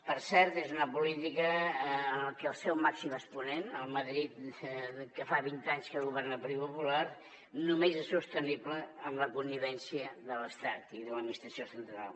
per cert és una política en què el seu màxim exponent el madrid que fa vint anys que governa el partit popular només és sostenible amb la connivència de l’estat i de l’administració central